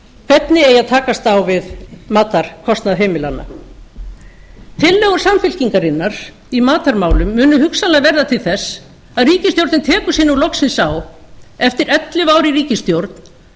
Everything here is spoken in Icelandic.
hvernig eigi að takast á við matarkostnað heimilanna tillögur samfylkingarinnar í matarmálum munu hugsanlega verða til þess að ríkisstjórnin tekur sig nú lokið á eftir ellefu ár í ríkisstjórn